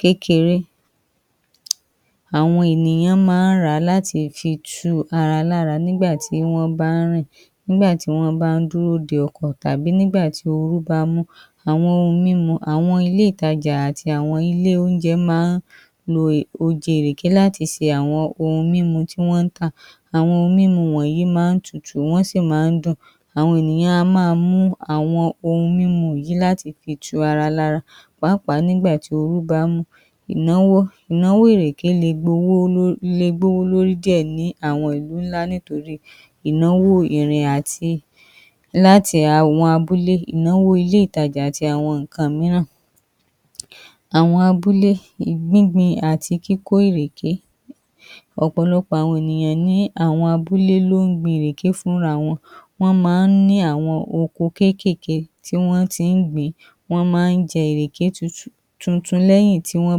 kékeré. Àwọn ènìyàn ma ń ràá láti fi tu ara lára nígbà tí wọ́n bá ń rìn, nígbà tí wọ́n bá ń dúró de ọkọ̀, àbí nígbà tí orú bá mú, àwọn oun mímu, àwọn ilé ìtajà àti àwọn ilé oúnjẹ má ń lo oje ìrèké láti fi ṣe àwọn oun mímu tí wọ́n tà. Àwọn oun mímu wọ̀nyí m ń tutù, wọ́n sì má ń dùn, àwọn ènìyàn a máa mu àwọn oun mímu wọ̀nyí láti fi tu ara lára pàápàá nígbà tí orú bá mú. Ìnáwó, ìnáwó ìrèké le bowó, le bowó lórí díẹ̀ ní àwọn ìlú ńlá nítorí ìnáwó ìrìn àti láti àwọn abúlé, ìnáwó ilé ìtajà àti àwọn ǹkan míràn. Àwọn abúlé, gbín gbin àti kíkó ìrèké, ọ̀pọ̀lọpọ̀ àwọn ènìyàn ni àwọn abúlé ló ń gbin ìrèké fún ra wọn, wọ́n ma ń ní àwọn oko kékèké tí wọ́n ti ń gbìn-ín, wọ́n ma ń jẹ ìrèké tuntun, lẹ́yìn tí wọ́n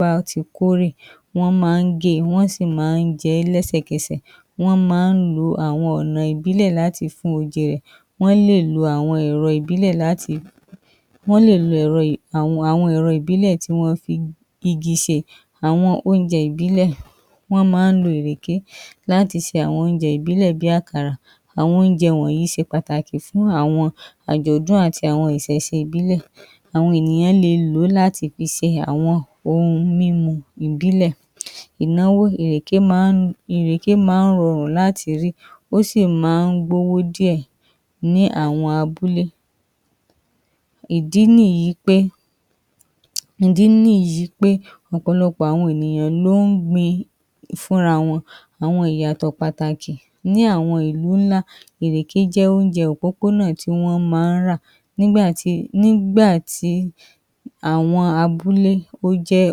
bá ti kórè, wọ́n ma ń ge, wọ́n sì má ń jẹ ẹ́ lẹ́sẹ̀ kẹsẹ̀, wọ́n má ń lo àwọn ọ̀nà ìbílẹ̀ láti fi fun oje rẹ̀, wọ́n lè lo àwọn ẹ̀rọ ìbílẹ̀ láti fi, wọ́n lè lo àwọn èrọ ìbílẹ̀ tí wọ́n ti fi igi ṣe. Àwọn oúnjẹ ìbílẹ̀, wọ́n má ń lo ìrèké láti ṣe oúnjẹ ìbílẹ̀ bí Àkàrà, àwọn oúnjẹ wọ̀nyí ṣe pàtàkì fún àwọn àjọ̀dún àti àwọn ìṣẹ̀ṣe ìbílẹ̀. Àwọn ènìyàn le lòó láti fi ṣe àwọn oun mímu ìbílè. Ìnáwó, ìrèké ma ń rọrùn lati rí, ó ṣì má ń gbówó díẹ̀, ní àwọn abúlé, ìdí nìyí pé, ìdí nìyí pé, ọ̀pọ̀lọpọ̀ àwọn ènìyàn ló ń gbìn-ín fún ra wọn. Àwọn ìyàtọ̀ pàtàkì ní àwọn ìlú ńláńlá, ìrèké jẹ́ oúnjẹ òpópó náà tí wọ́n ma ń rà nígbà tí, nígbà tí àwọn abúlé ó jẹ́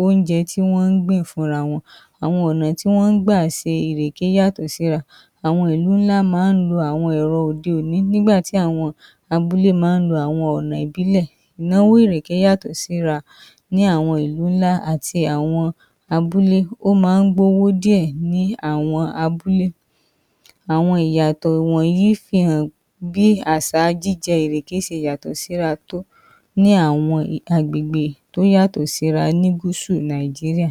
oúnjẹ tí wọ́n gbìn fún ra wọn. Àwọn ọ̀nà tí wọ́n gbà ṣe ìrèké yàtọ̀ sí ra, àwọn ìlú ńlá ma ń lo àwọn ẹ̀rọ òde òni, nígbà tí àwọn abúlé ma ń lo àwọn ọ̀nà ìbílẹ̀. Ìnáwó ìrèké yàtọ̀ síra ní àwọn ìlú ńlá àti àwọn abúlé, ó ma ń gbówó díẹ̀ ní àwọn abúlé. Àwọn ìyàtọ̀ wọ̀nyí fi hàn bí àwọn àṣà jíjẹ ìrèké ṣe yàtọ̀ síra tó ní àwọn agbègbè tó yàtọ̀ síra ní gúsù Nàìjíríà.